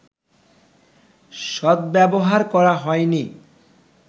সদ্ব্যবহার করা হয়নি